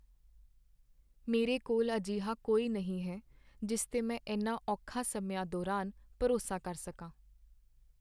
ਮੇਰੇ ਕੋਲ ਅਜਿਹਾ ਕੋਈ ਨਹੀਂ ਹੈ ਜਿਸ 'ਤੇ ਮੈਂ ਇਨ੍ਹਾਂ ਔਖੇ ਸਮਿਆਂ ਦੌਰਾਨ ਭਰੋਸਾ ਕਰ ਸਕਾਂ।